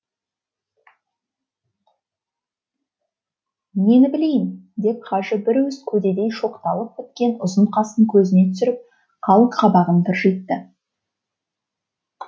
нені білейін деп хажы бір уыс көдедей шоқталып біткен ұзын қасын көзіне түсіріп қалың қабағын тыржитты